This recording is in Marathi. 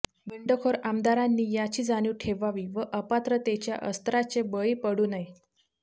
बंडखोर आमदारांनी याची जाणीव ठेवावी व अपात्रतेच्या अस्त्राचे बळी पडू नये